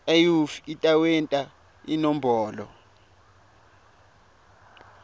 iuif itawenta inombolo